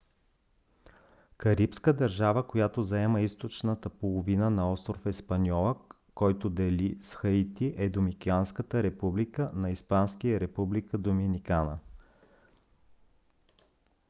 карибска държава която заема източната половина на остров испаньола който дели с хаити е доминиканската република на испански: република доминикана